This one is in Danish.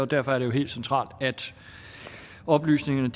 derfor er det jo helt centralt at oplysningerne